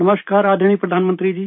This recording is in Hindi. नमस्कार आदरणीय प्रधानमंत्री जी